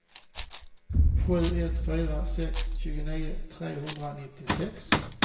sju ett fyra sex tjugonio trehundranittiosex